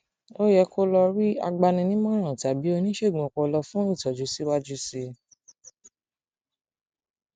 ó yẹ kó o lọ lọ rí agbaninímọràn tàbí oníṣègùn ọpọlọ fún ìtọjú síwájú sí i